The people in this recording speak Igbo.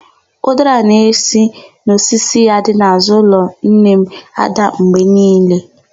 Ụdara na-esi n'osisi ya dị n'àzụ́ ụlọ nne m ádà mgbe niile.